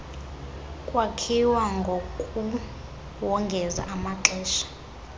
kwakhiwa ngokuwongeza ngokwamaxesha